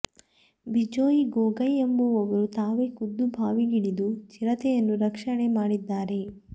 ಬಿಜೊಯ್ ಗೊಗೊಯ್ ಎಂಬುವವರು ತಾವೇ ಖುದ್ದು ಬಾವಿಗಿಳಿದು ಚಿರತೆಯನ್ನು ರಕ್ಷಣೆ ಮಾಡಿದ್ದಾರೆ